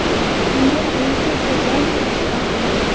Unga Alisher Sultonov rahbar bo‘ldi.